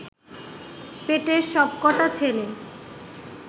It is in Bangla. পেটের সব কটা ছেলে